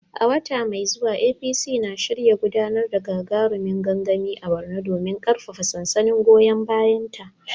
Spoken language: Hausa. A wata mai zuwa APC na shirin gudanar da gagarumin gangami a Borno domin karfafa sansanin goyon bayanta.